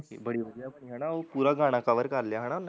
ਬੜੀ ਵਧੀਆ ਬਣੀ ਹੈਨਾ ਓਹ ਪੂਰਾ ਗਾਣਾ cover ਕਰਲਿਆ ਹਨਾ